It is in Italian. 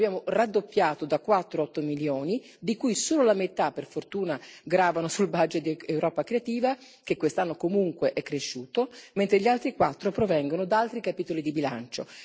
Abbiamo raddoppiato da 4 a 8 milioni, di cui solo la metà, per fortuna, gravano sul budget di Europa creativa, che quest'anno comunque è cresciuto, mentre gli altri 4 provengono da altri capitoli di bilancio.